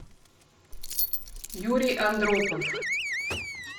юрий андропов